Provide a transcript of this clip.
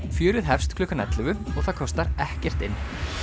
fjörið hefst klukkan ellefu og það kostar ekkert inn